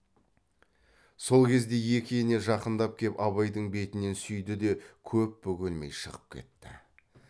сол кезде екі ене жақындап кеп абайдың бетінен сүйді де көп бөгелмей шығып кетті